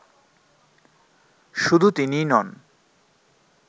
শুধু তিনিই নন